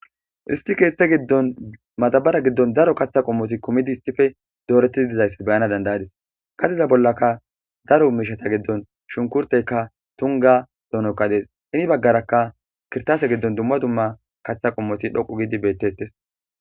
Issti kethe giddon madbaara giddon daro kaththa qommoti kumidi hissife dooreti dizaysse beyana dandayadis qaxiza bollaka daro miishata giddon shunkurteyka tunga donoka dees ini baggaraka kirtaase giddon dumma dumma kaththa qommoti dhoqu gidi beettes